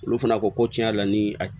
Olu fana ko ko tiɲɛ yɛrɛ la ni a